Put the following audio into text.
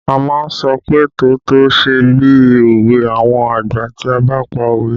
A má ń sọ pé "tótó ṣe bí òwe àwọn àgbà" tí a bá pa òwe